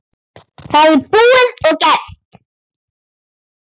Það er búið og gert!